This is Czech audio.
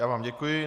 Já vám děkuji.